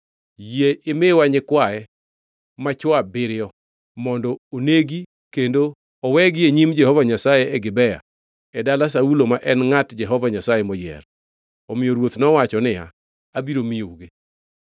yie imiwa nyikwaye machwo abiriyo mondo onegi kendo owegi e nyim Jehova Nyasaye e Gibea e dala Saulo ma en ngʼat Jehova Nyasaye moyier.” Omiyo ruoth nowacho niya, “Abiro miyougi.”